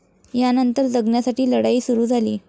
यानंतर जगण्यासाठी लढाई सुरु झाली.